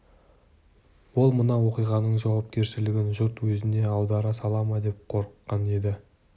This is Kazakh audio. ол мына оқиғаның жауапкершілігін жұрт өзіне аудара сала ма деп қорыққан еді